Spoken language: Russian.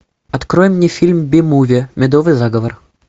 открой мне фильм би муви медовый заговор